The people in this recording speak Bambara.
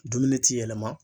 Dumuni ti yɛlɛma.